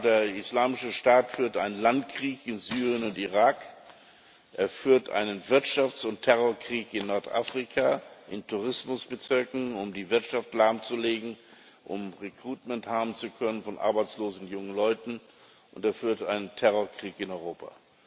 Der Islamische Staat führt einen Landkrieg in Syrien und in Irak, er führt einen Wirtschafts und Terrorkrieg in Nordafrika, in Tourismusbezirken, um die Wirtschaft lahmzulegen, um haben zu können von arbeitslosen jungen Leuten, und er führt einen Terrorkrieg in Europa.